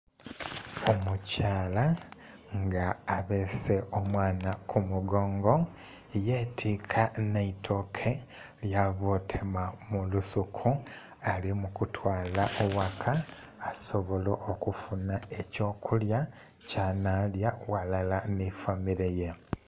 Omukyala nga abeese omwana kumugongo yetika n'eitooke lyavootema mulusuku alimukutwala waka asobole okufuna ekyokulya kyanhalya ghalala n'efamireye.